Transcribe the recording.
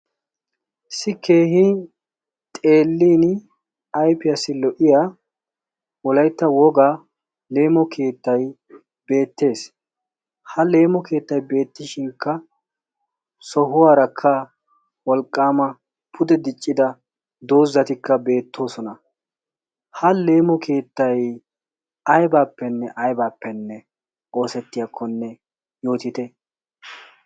issi keehi xelin ayfiyaassi lo''iya wolaytta wogaa leemo keettay beettees ha leemo keettay beettishinkka sohuwaarakka wolqqaama pude diccida doozzatikka beettoosona ha leemo keettay aybaappenne aybaappenne oosettiyaakkonne yootite